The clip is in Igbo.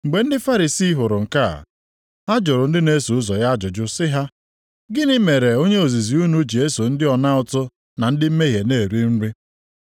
Mgbe ndị Farisii hụrụ nke a, ha jụrụ ndị na-eso ụzọ ya ajụjụ sị ha, “Gịnị mere onye ozizi unu ji eso ndị ọna ụtụ na ndị mmehie na-eri nri?”